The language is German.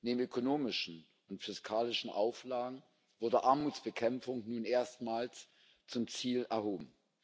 Neben ökonomischen und fiskalischen Auflagen wurde Armutsbekämpfung nun erstmals zum Ziel erhoben.